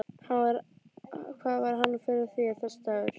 Hvað var hann fyrir þér, þessi dagur.